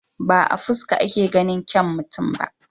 Ba a fuska ake ganin kyau mutum ba.